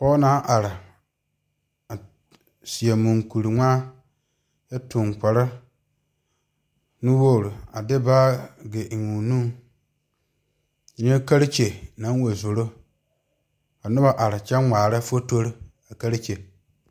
Pɔge naŋ are a tuŋ moɔkuri ŋmaa kyɛ de baagi eŋ o nu nyɛ katakyi naŋ wa zoro ka noba are kyɛ ŋmaare fotori a katakyi.